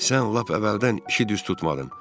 Sən lap əvvəldən işi düz tutmadın.